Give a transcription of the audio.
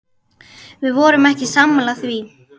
Við vorum ekki sammála því.